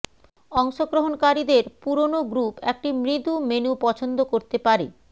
অংশগ্রহণকারীদের পুরোনো গ্রুপ একটি মৃদু মেনু পছন্দ করতে পারে